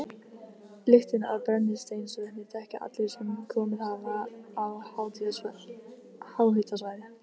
Lyktina af brennisteinsvetni þekkja allir sem komið hafa á háhitasvæði.